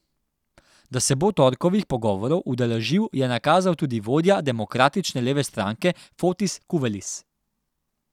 Da se bo torkovih pogovorov udeležil, je nakazal tudi vodja Demokratične leve stranke Fotis Kuvelis.